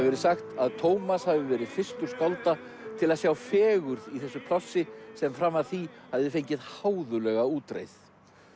verið sagt að Tómas hafi verið fyrstur skálda til að sjá fegurð í þessu plássi sem fram að því hafði fengið háðuglega útreið